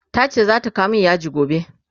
tace zata kawo min yaji gobe